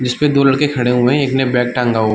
जिसपे दो लड़के खड़े हुए हैं एक ने बैग टँगा हु --